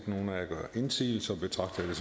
nogen af jer gør indsigelse betragter jeg